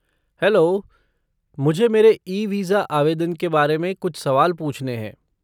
Hello, मुझे मेरे e visa आवेदन के बारे कुछ सवाल पूछने हैं।